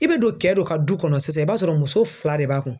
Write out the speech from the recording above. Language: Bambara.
I be don kɛ dɔ ka du kɔnɔ sisan i b'a sɔrɔ muso fila de b'a kun